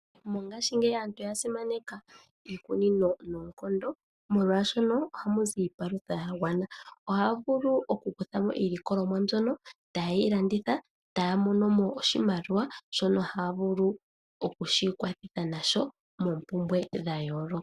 Mongashingeyi aantu oya simaneka iikunino noonkondo, molwashoka ohamu zi iipalutha ya gwana. Ohaya vulu okukutha mo iilikolomwa mbyono ta yeyi landitha, taya mono mo oshimaliwa shono haya vulu okushi ikwathitha nasho moompumbwe dha yooloka.